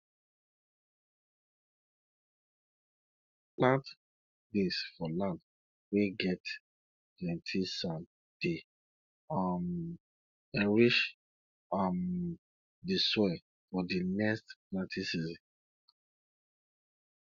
plant beans for land weh get plenti sand dey um enrich um di soil for di next planting season